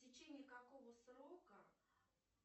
в течение какого срока